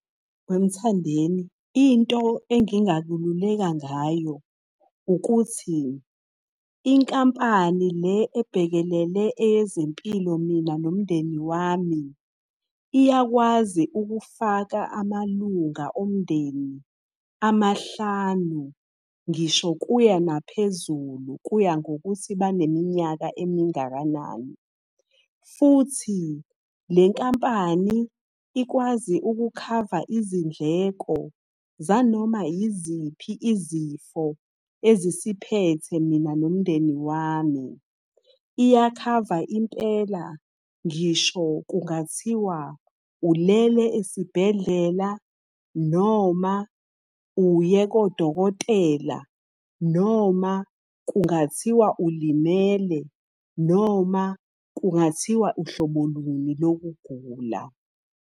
WeMthandeni, into engingakululeka ngayo ukuthi, inkampani le ebhekelele eyezempilo, mina nomndeni wami, iyakwazi ukufaka amalunga omndeni amahlanu ngisho kuya naphezulu, kuya ngokuthi baneminyaka emingakanani. Futhi, le nkampani ikwazi ukukhava izindleko zanoma yiziphi izifo ezisiphethe mina nomndeni wami. Iyakhava impela ngisho kungathiwa ulele esibhedlela noma uye kodokotela, noma kungathiwa ulimele, noma kungathiwa uhlobo luni lokugula.